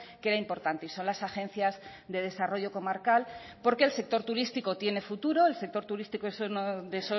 que era importante y son las agencias de desarrollo comarcal porque el sector turístico tiene futuro el sector turístico es uno de